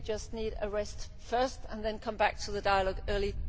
Maybe we just need a rest first and then come back to the dialogue in early